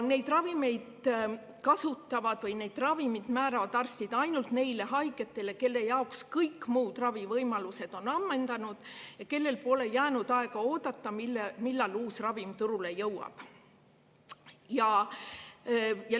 Neid ravimeid määravad arstid ainult neile haigetele, kelle jaoks kõik muud ravivõimalused on ammendunud ja kellel pole aega oodata, millal uus ravim turule jõuab.